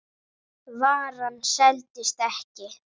Varan seldist ekki.